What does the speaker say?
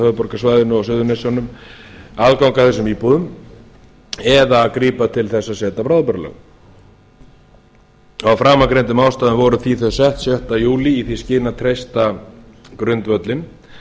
höfuðborgarsvæðinu og suðurnesjunum aðgang að þessum íbúðum eða grípa til þess að setja bráðabirgðalög af framangreindum ástæðum voru þau því sett sjötta júlí í því skyni að treysta grundvöllinn